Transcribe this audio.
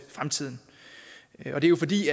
fremtiden det er jo fordi